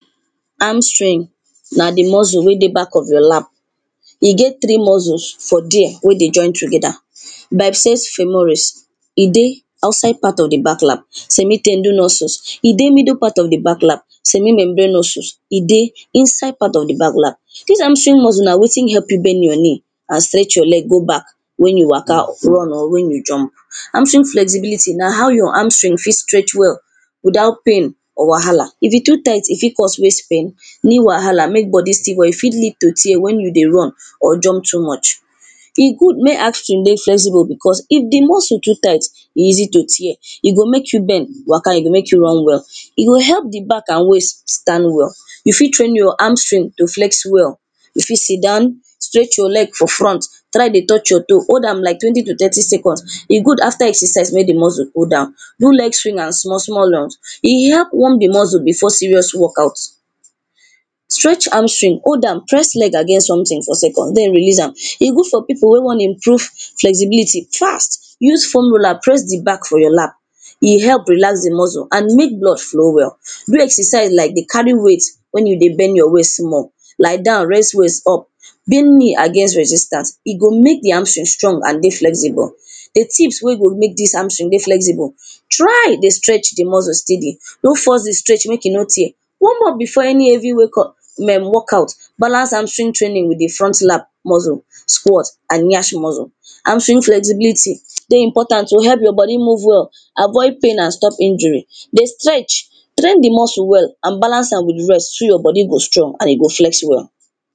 Hamstring na di muscle wey dey back of your lap, e get three muscles for there wey dey join together. bypfes sumores e di outside part of di back lap. Semi ten dinosus e dey middle part o di back lap, semimembanosus, e dey inside part of di back lap. Dis Hamstring muscles na wetin help you bend your knee, and stretch your leg go back, wen you waka, run or wen you jump. Hamstring flexibility na how your Hamstring fit stretch well without pain, or wahala. If e too tight e fit cause waist pain, knee wahala, make body still hot, e fit still lead to tear wen you dey run or jump too much. E good make Hamstring dey flexible because if di muscle too tight, e easy to tear. E go make you bend, waka, e go make you run well. E go help di back and waist stand well. You fit train your Hamstring to flex well. You fit sit down, stretch your leg for front, try dey touch your toe. Hold am like twenty to thirty seconds. E good after exercise make di muscle go down. No let swing am small small oh, e help warm di muscle before serious work out. Stretch Hamstring hold am, press leg against something for seconds den release am, e good for people wey wan improve flexibility fast, use formula, press di back for your lap. E help relax di muscle and make blood flow well. Do exercise like dey carry weight wen you dey bend your waist small. Lie down, rest waist up, bend knew against resistance, e go make di Hamstring strong and dey flexible. Di tips wen go make dis Hamstring dey flexible, try dey stretch di muscle steady, no force di stretch make e no tear, warm up before any heavy wake or [urn] walk out Balance Hamstring training with di front lap muscle, quot and nyash muscle. Hamstring flexibility dey important to help your body move well, aid pain and stop injury. Dey stretch, train di muscle well and balance am with rest so your body go stretch and e go flex well.